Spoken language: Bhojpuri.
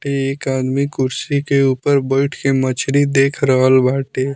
एक आदमी कुर्सी के ऊपर बैठ के मछली देख रहल बाटे।